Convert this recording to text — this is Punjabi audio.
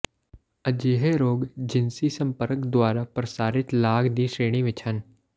ਅਜਿਹੇ ਰੋਗ ਜਿਨਸੀ ਸੰਪਰਕ ਦੁਆਰਾ ਪ੍ਰਸਾਰਿਤ ਲਾਗ ਦੀ ਸ਼੍ਰੇਣੀ ਵਿਚ ਹਨ